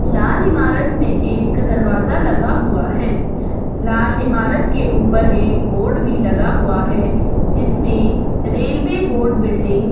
लाल इमारत में एक दरवाजा लगा हुआ हैं लाल इमारत के ऊपर एक बोर्ड भी लगा हुआ है जिसमें रेलवे बोर्ड बिल्डिंग --